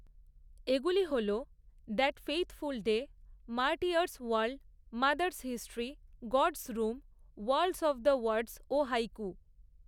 এগুলি হল, that faithful day, martyrs wall, mothers history, gods room, world of the words ও haiku.